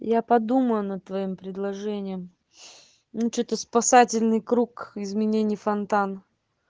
я подумаю над твоим предложением ну что-то спасательный круг изменение фонтан